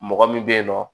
Mɔgɔ min bɛ yen nɔ